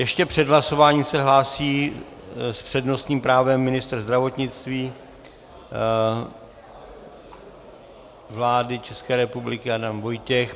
Ještě před hlasováním se hlásí s přednostním právem ministr zdravotnictví vlády České republiky Adam Vojtěch.